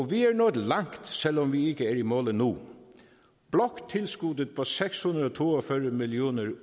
vi er nået langt selv om vi ikke er i mål endnu bloktilskuddet på seks hundrede og to og fyrre million